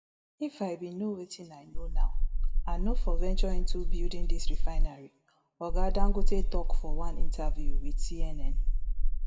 if i bin know wetin i know now i no for venture into building dis refinery oga dangote tok for one interview wit cnn